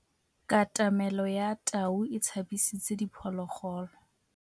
Katamêlô ya tau e tshabisitse diphôlôgôlô.